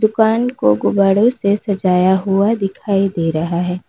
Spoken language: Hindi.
दुकान को गुब्बारों से सजाया हुआ दिखाई दे रहा है।